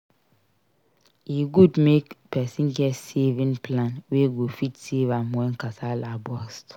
E good make persin get saving plan wey go fit save am when kasala burst